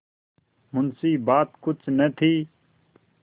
मुंशीबात कुछ न थी